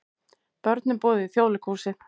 Börnum boðið í Þjóðleikhúsið